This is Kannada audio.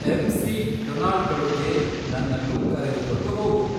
ಎಮ್. ಸಿ. ಡೊನಾಲ್ಡ್ಗಳುಗೆ ನನ್ನನ್ನು ಕರೆದುಕೊಂಡು ಹೋಗು